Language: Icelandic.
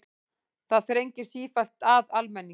Það þrengir sífellt að almenningi